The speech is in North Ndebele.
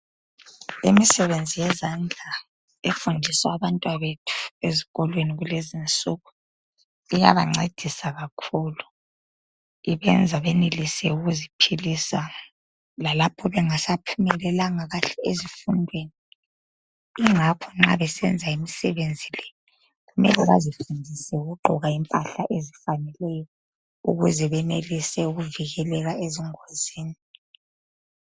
Imisebenzi yezandla efundiswa abantwabethu ezikolweni kulezinsuku iyabancedisa kakhulu. Ibenza benelise ukuziphilisa lalapho bengasaphumelelanga kahle ezifundweni ingakho nxa besenza imisebenzi le kumele bazifundise ukugqoka impahla ezifaneleyo ukuze benelise ukuvikeleka ezingozini.